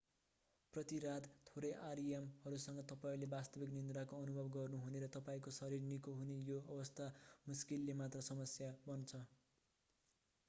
प्रति रात थोरै rem हरूसँग तपाईंले वास्तविक निन्द्राको अनुभव गर्नुहने र तपाईंको शरीर निको हुने यो अवस्था मुश्किलले मात्रै समस्या बन्छ